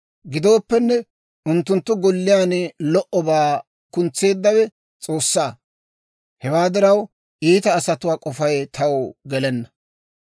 Gidooppenne, unttunttu golliyaan lo"obaa kuntseeddawe S'oossaa. Hewaa diraw, iita asatuwaa k'ofay taw gelenna.